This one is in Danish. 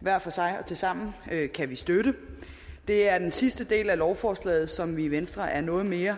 hver for sig og tilsammen kan vi støtte det er den sidste del af lovforslaget som vi i venstre er noget mere